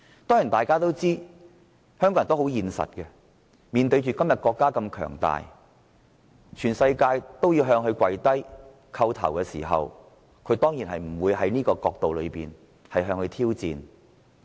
當然，大家都知道香港人很現實，今天國家如此強大，全世界也向中國下跪叩頭，他們當然不會向國家挑戰。